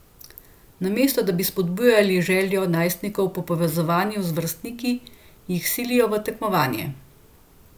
Namesto da bi spodbujali željo najstnikov po povezovanju z vrstniki, jih silijo v tekmovanje.